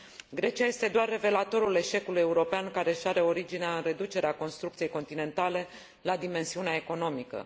Grecia este doar revelatorul eșecului european care își are originea în reducerea construcției continentale la dimensiunea economică.